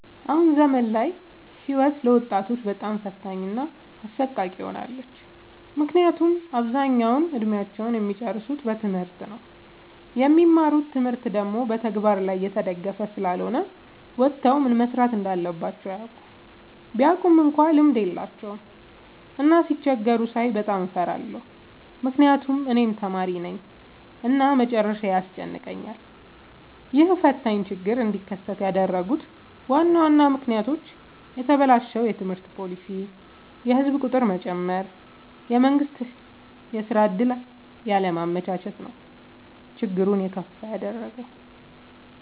አሁን ዘመን ላይ ህይወት ለወጣቶች በጣም ፈታኝ እና አሰቃቂ ሆናለች። ምክንያቱም አብዛኛውን እድሜአቸውን እሚጨርሱት በትምህርት ነው። የሚማሩት ትምህርት ደግሞ በተግበር ላይ የተደገፈ ስላልሆነ ወተው ምን መስራት እንዳለባቸው አያውቁም። ቢያውቁ እንኳን ልምድ የላቸውም። እና ሲቸገሩ ሳይ በጣም እፈራለሁ ምክንያቱም እኔም ተማሪነኝ እና መጨረሻዬ ያስጨንቀኛል። ይህ ፈታኝ ችግር እንዲከሰት ያደረጉት ዋና ዋና ምክንያቶች፦ የተበላሸ የትምህርት ፓሊሲ፣ የህዝብ ቁጥር መጨመር፣ የመንግስት የስራ ዕድል ያለማመቻቸት ነው። ችግሩን የከፋ ያደረገው።